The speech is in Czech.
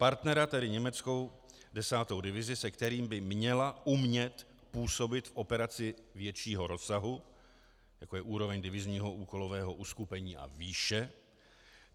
Partnera, tedy německou 10. divizi, se kterým by měla umět působit v operaci většího rozsahu, jako je úroveň divizního úkolového uskupení a výše.